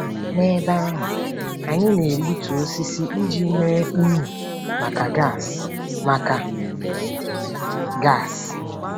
N'ebe ahụ, anyị na-egbutu osisi iji mee unyi maka gas. maka gas.